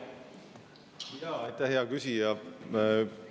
Aitäh, hea küsija!